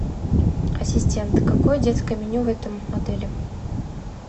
ассистент какое детское меню в этом отеле